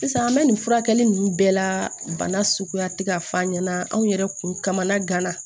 Sisan an bɛ nin furakɛli ninnu bɛɛ la bana suguya tɛ k'a f'a ɲɛna anw yɛrɛ kun kamana gana